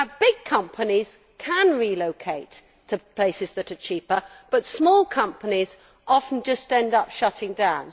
Big companies can relocate to places that are cheaper, but small companies often end up shutting down.